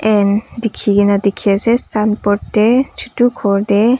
And dekhe kena dekhe ase sun board tey chutu khor tey.